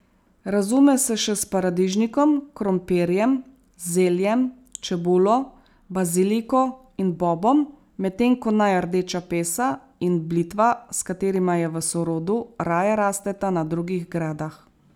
Razume se še s paradižnikom, krompirjem, zeljem, čebulo, baziliko in bobom, medtem ko naj rdeča pesa in blitva, s katerima je v sorodu, raje rasteta na drugih gredah.